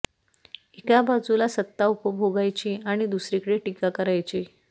एक बाजूला सत्ता उपभोगायची आणि दुसरीकडे टीका करायची